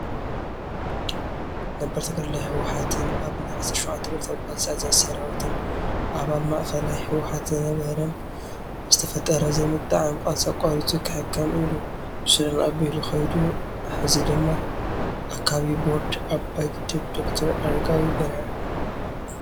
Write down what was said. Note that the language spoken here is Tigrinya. ነባር ተጋደላይ ህወሓትን ኣብ ናይ 17ተ ብረታዊ ቃልሲ ኣዛዚ ሰራዊትን ኣባል ማእኸላይ ህወሓት ዝነበረን በዝተፈጠረ ዘይምጥዕዓም ቃለሲ ኣቋሪፁ ክሕከም ኢሉ ብሱዳን ኣቢሉ ኸይዱ ሀዚ ድማ ኣካቢ ቦርድ ኣባይ ግድብ ዶ/ር ኣረጋዊ በርሀ ።